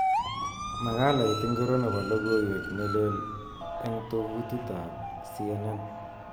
Makalait ingiro nebo logoiwek neleel eng tovutit ab C.N N